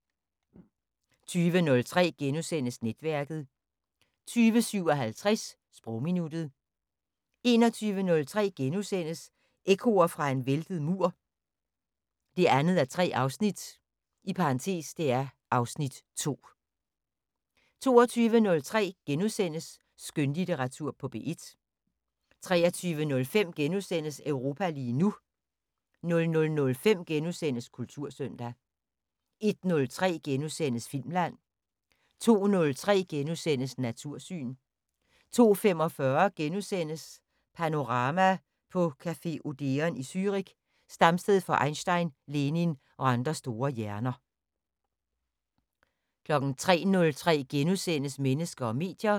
20:03: Netværket * 20:57: Sprogminuttet 21:03: Ekkoer fra en væltet mur 2:3 (Afs. 2)* 22:03: Skønlitteratur på P1 * 23:05: Europa lige nu * 00:05: Kultursøndag * 01:03: Filmland * 02:03: Natursyn * 02:45: Panorama: På café Odeon i Zürich, stamsted for Einstein, Lenin og andre store hjerner * 03:03: Mennesker og medier *